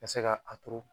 Ka se ka a turu